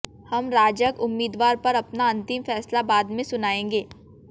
हम राजग उम्मीदवार पर अपना अंतिम फैसला बाद में सुनाएंगे